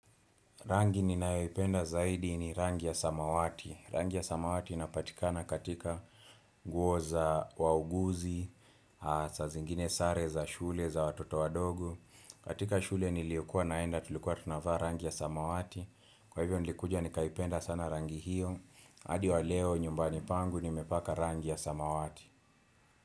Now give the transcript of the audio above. Rangi ninayoipenda zaidi ni rangi ya samawati. Rangi ya samawati inapatikana katika nguo za wauguzi, sa zingine sare za shule za watoto wadogo. Katika shule niliyokua naenda, tulikuwa tunavaa rangi ya samawati. Kwa hivyo nilikuja nikaipenda sana rangi hiyo. Hadi wa leo nyumbani pangu nimepaka rangi ya samawati.